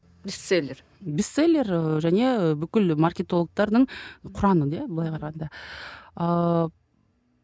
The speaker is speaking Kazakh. бестселлер бестселлер ы және бүкіл маркетологтардың құраны иә былай қарағанда ыыы